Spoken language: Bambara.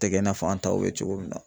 Tɛgɛ i n'a fɔ an taw bɛ cogo min na.